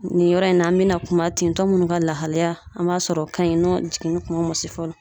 Nin yɔrɔ in na an bina kuma tentɔ munnu ka lahalaya an b'a sɔrɔ o kaɲi n'a jiginni kuma ma se fɔlɔ